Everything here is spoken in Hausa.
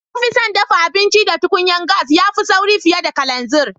Na fi son daffa abinci da tukunyan gas, ya fi sauri fiyar da kalanzir.